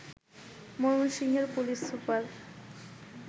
ময়মনসিংহের police super